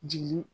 Jigin